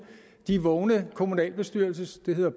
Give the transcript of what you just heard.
de vågne kommunalbestyrelsesmedlemmer